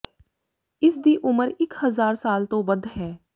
ਇਸ ਦੀ ਉਮਰ ਇਕ ਹਜ਼ਾਰ ਸਾਲ ਤੋਂ ਵੱਧ ਹੈ